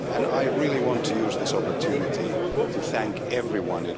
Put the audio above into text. I really want to use this opportunity to thank everyone.